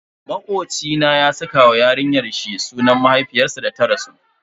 Makoci na ya saka wa yarinyar shi sunan mahaifiyarsa da ta rasu.